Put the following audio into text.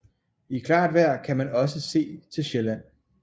I klart vejr kan man også se til Sjælland